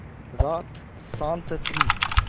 रात शान्त थी